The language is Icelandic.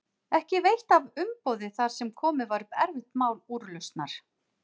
Ekki veitti af umboði þar sem komið var upp erfitt mál úrlausnar.